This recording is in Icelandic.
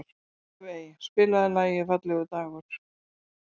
Evey, spilaðu lagið „Fallegur dagur“.